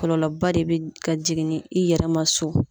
Kɔlɔlɔba de be ka jigin ni i yɛrɛ ma so.